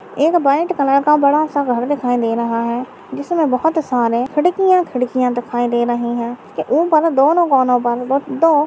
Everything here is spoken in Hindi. एक ब्लैक कलर का बड़ा सा घर दिखाई दे रहा है जिसमें बहुत सारे खिडकियां खिडकियां दिखाई दे रही है इसके ऊपर दोनों कोनों पर --